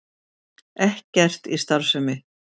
Ekkert í starfsemi